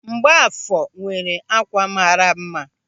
Mgbafọ nwere ákwà mara mma.